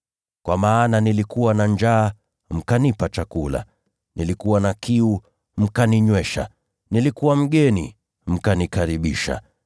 Kwa maana nilikuwa na njaa mkanipa chakula, nilikuwa na kiu mkaninywesha, nilikuwa mgeni mkanikaribisha,